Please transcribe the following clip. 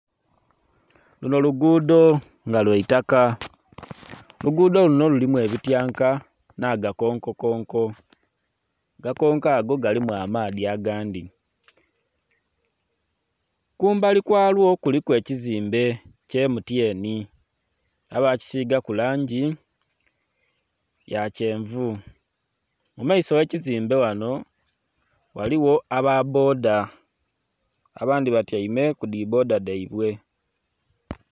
Luno luguudo nga lwa itaka, oluguudo luno lulimu ebityanka nh'agakonkokonko. Agakonko ago galimu amaadhi agandhi. Kumbali kwalwo kuliku ekizimbe kya MTN, baakisigaku langi ya kyenvu. Mu maiso gh'ekizimbe ghano ghaligho aba bboda. Abandhi batyaime ku dhi bboda dhaibwe.